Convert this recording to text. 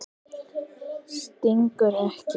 Stingur ekki.